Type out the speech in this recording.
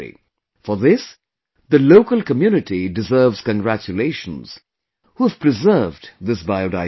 For this, the local community deserves congratulations, who have preserved this Biodiversity